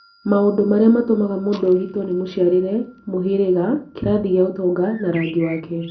maũndũ maria matũmaga mũndũ ogitwo nĩ mũciarĩre, mũhĩrĩga, kĩrathi gia ũtonga na rangi wake.